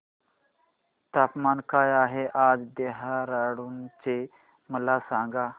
तापमान काय आहे आज देहराडून चे मला सांगा